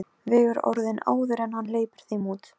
Velta honum upp úr tjöru og fiðri!